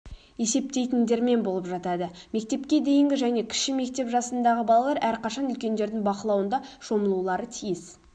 есептейтіндермен болып жатады мектепке дейінгі және кіші мектеп жасындағы балалар әрқашан үлкендердің бақылауында шомылулары тиіс